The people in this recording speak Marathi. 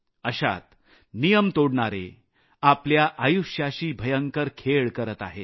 अशात नियम तोडणारे आपलं आयुष्य धोक्यात घालत आहेत